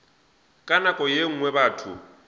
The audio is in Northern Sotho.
ka nako ye nngwe batho